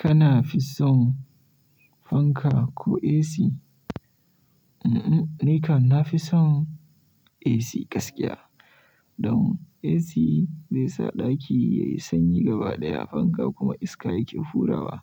Kana fi son fanka ko AC? Un-un, ni ka na fi son AC gaskiya. Don AC zai sa ɗaki yayi sanyi gaba ɗaya, fanka kuma iska yake hurawa.